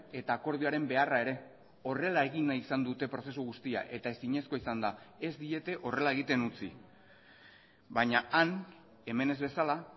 eta akordioaren beharra ere horrela egin nahi izan dute prozesu guztia eta ezinezkoa izan da ez diete horrela egiten utzi baina han hemen ez bezala